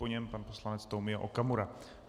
Po něm pan poslanec Tomio Okamura.